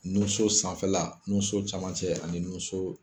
Nun so sanfɛla, nun so camancɛ ani nun so